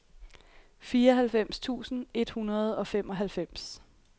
fireoghalvfems tusind et hundrede og femoghalvfems